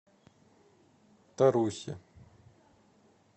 тарусе